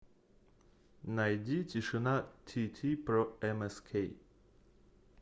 найди тишина тити про эмэскей